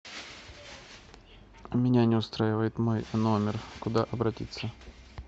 меня не устраивает мой номер куда обратиться